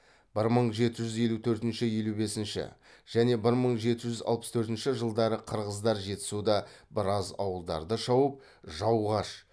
бір мың жеті жүз елу төртінші елу бесінші және бір мың жеті жүз алпыс төртінші жылдары қырғыздар жетісуда біраз ауылдарды шауып жауғаш